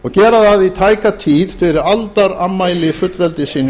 og gera það í tæka tíð fyrir aldarafmæli fullveldisins